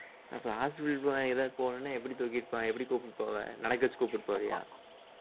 அப்ப hospital போனா எதாவது போகணும்னா எப்படி தூக்கிட்டு போ~ எப்படி கூப்பிட்டு போவ நடக்க வச்சு கூட்டிட்டு போவியா